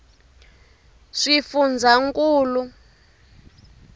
swifundzankulu